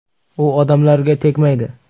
U odamlarga tegmaydi’ ”.